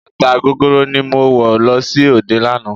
Bàtà gogoro ni mo wọ̀ lọ sí òde lánàá.